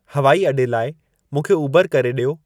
हवाई अॾे लाइ मूंखे उबरु करे ॾियो